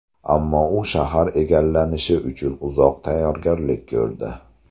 Ammo u shahar egallanishi uchun uzoq tayyorgarlik ko‘rdi.